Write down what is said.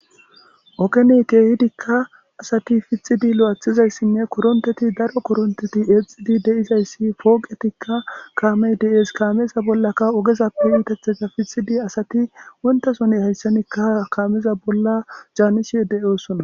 Okene keehidikka asati pfixidi lo'athizayssinne koronteti daro koronteti eexidi deizayssi pooqetikka kaamey de'ees kaameza bollaka ogezappe uutetheka fixidi asati wontasone hayssanikka kaameza bolla jaannishi deyoosona.